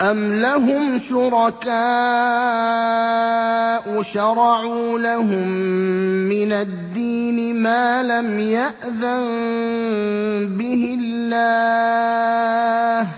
أَمْ لَهُمْ شُرَكَاءُ شَرَعُوا لَهُم مِّنَ الدِّينِ مَا لَمْ يَأْذَن بِهِ اللَّهُ ۚ